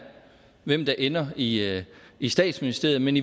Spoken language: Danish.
hvem der ender i i statsministeriet men